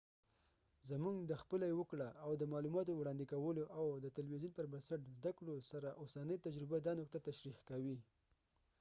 زموږ د خپله یې وکړه او د معلوماتو وړاندي کولو، او د تلويزیون پر بنسټ زده کړو سره اوسنی تجربه دا نقطه تشریح کوي